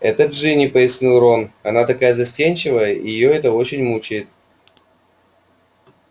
это джинни пояснил рон она такая застенчивая и это её очень мучает